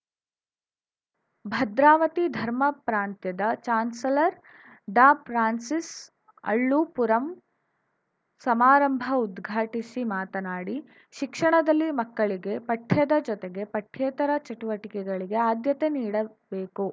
ಭದ್ರಾವತಿ ಧರ್ಮ ಪ್ರಾಂತ್ಯದ chancellor Dr Francis Allumpuram ಸಮಾರಂಭ ಉದ್ಘಾಟಿಸಿ ಮಾತನಾಡಿ ಶಿಕ್ಷಣದಲ್ಲಿ ಮಕ್ಕಳಿಗೆ ಪಠ್ಯದ ಜೊತೆಗೆ ಪಠ್ಯೇತರ ಚಟುಟಿಕೆಗಳಿಗೆ ಆದ್ಯತೆ ನೀಡಬೇಕು